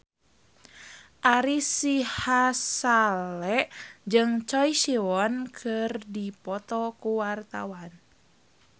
Ari Sihasale jeung Choi Siwon keur dipoto ku wartawan